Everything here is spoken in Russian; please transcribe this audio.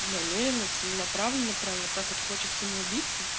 намерено целенаправленно прямо вот так вот хочет самоубийца